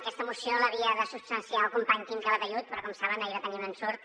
aquesta moció l’havia de substanciar el company quim calatayud però com saben ahir va tenir un ensurt